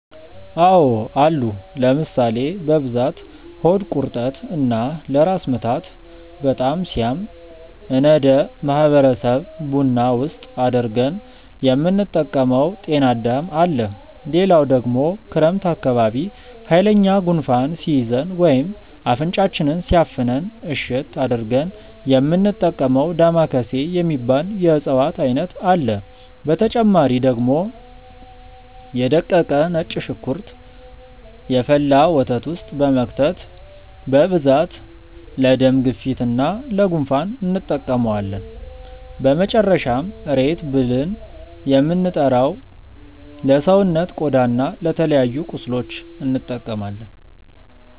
አዎ አሉ ለምሳሌ፦ በብዛት ሆድ ቁርጠት እና ለራስ ምታት በጣም ሲያም እነደ ማህበረሰብ ቡና ውስጥ አድርገን የምንጠቀመው ጤናዳም አለ፣ ሌላው ደግሞ ክረምት አካባቢ ሃይለኛ ጉንፋን ሲይዘን ወይም አፍንጫችንን ሲያፍነን እሽት አድርገን የሚንጠቀመው ዳማከሴ የሚባል የእፅዋት አይነት አለ፣ በተጨማሪ ደግሞ የ ደቀቀ ነጭ ሽንኩርት የፈላ ወተት ውስጥ በመክተት በብዛት ለደም ግፊት እና ለ ጉንፋን እንጠቀመዋለን፣ በመጨረሻም ሬት ብልን የምንጠራው ለሰውነት ቆዳ እና ለተለያዩ ቁስሎች እንጠቀማለን።